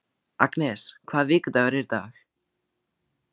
Agnes, hvaða vikudagur er í dag?